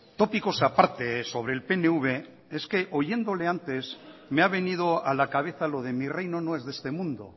tópicos aparte sobre el pnv es que oyéndole antes me ha venido a la cabeza lo de mi reino no es de este mundo